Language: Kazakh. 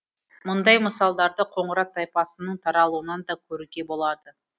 мұндай мысалдарды қоңырат тайпасының таралуынан да көруге болады